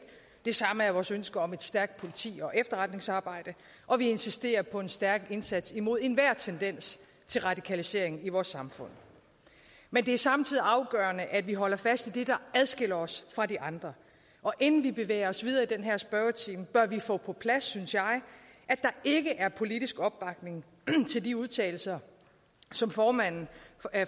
det samme er vores ønske om et stærkt politi og efterretningsarbejde og vi insisterer på en stærk indsats imod enhver tendens til radikalisering i vores samfund men det er samtidig afgørende at vi holder fast i det der adskiller os fra de andre og inden vi bevæger os videre i den her spørgetime bør vi få på plads synes jeg at der ikke er politisk opbakning til de udtalelser som formanden